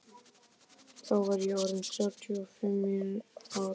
Þá var ég orð inn þrjátíu og fimm ára gamall.